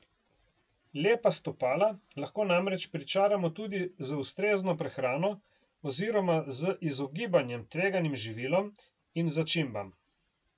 Lepa stopala lahko namreč pričaramo tudi z ustrezno prehrano oziroma z izogibanjem tveganim živilom in začimbam.